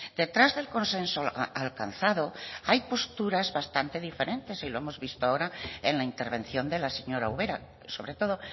detrás del consenso alcanzado hay posturas bastante diferentes y lo hemos visto ahora en la intervención de la señora ubera sobre todo